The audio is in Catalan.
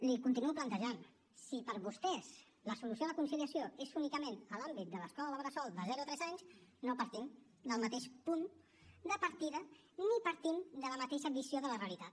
li continuo plantejant si per vostès la solució a la conciliació és únicament en l’àmbit de l’escola bressol de zero a tres anys no partim del mateix punt de partida ni partim de la mateixa visió de la realitat